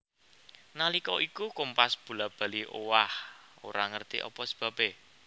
Nalika iku kompas bola bali owah ora ngerti apa sebabé